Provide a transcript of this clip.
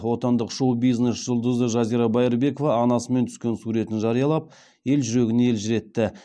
отандық шоу бизнес жұлдызы жазира байырбекова анасымен түскен суретін жариялап ел жүрегін елжіретті